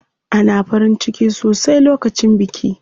Ana farin ciki sosai lokacin biki.